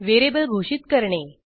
variable घोषित करणे